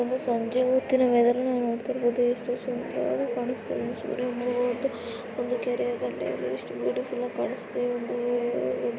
ಇದೊಂದು ಸಂಜೆ ಹೊತ್ತಿನ ವೇದರ ನ ನೋಡತ್ತಿರಬಹುದು. ಎಷ್ಟು ಸುದಾರವಾಗಿ ಕಾಣಸ್ತಾಯಿದೆ ಸೂರ್ಯ ಮುಳುಗೋದು ಒಂದು ಕೆರೆಯ ದಂಡೆಯಲ್ಲಿ ಎಷ್ಟ ಬ್ಯುಟಿಫುಲ್ ಆಗ ಕಾಣಸ್ತಾಯಿದೆ ಈ ಒಂದು --